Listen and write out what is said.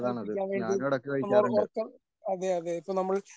കഴിപ്പിക്കാൻ നമ്മള് ഉറ ഉറക്കം അതെ അതെ ഇപ്പോ നമ്മൾ